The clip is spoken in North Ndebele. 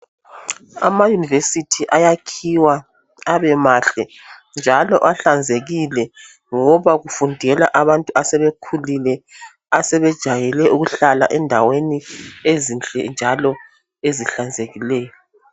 Amayunivesithi ayakhiwa abemahle njalo ahlanzekile ngoba kufundela abantu asebekhulile asebejayele ukuhlala endaweni ezinhle njalo ezihlanzekileyo